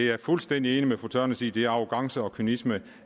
er fuldstændig enig med fru tørnæs i at det er arrogance og kynisme